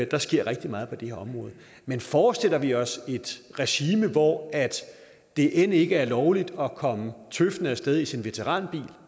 der sker rigtig meget på det her område men forestiller vi os et regime hvor det end ikke er lovligt at komme tøffende af sted i sin veteranbil